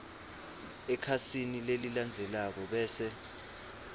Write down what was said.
ekhasini lelilandzelako bese